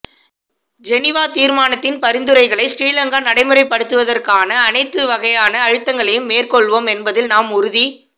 Geneva தீர்மானத்தின் பரிந்துரைகளை சிறிலங்கா நடைமுறைப்படுத்துவதற்கான அனைத்து வகையான அழுத்தங்களையும் மேற்கொள்வோம் என்பதில் நாம் உறு